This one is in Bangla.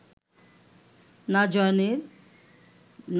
না জলের